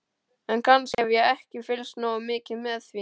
En kannski hef ég ekki fylgst nógu mikið með því.